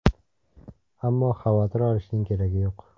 Ammo xavotir olishning keragi yo‘q.